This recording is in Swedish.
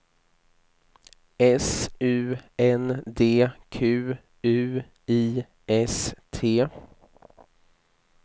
S U N D Q U I S T